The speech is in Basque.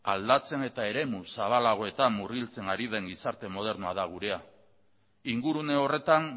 aldatzen eta eremu zabalagoetan murgiltzen ari den gizarte modernoa da geurea ingurune horretan